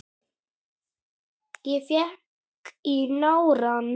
Ég fékk í nárann.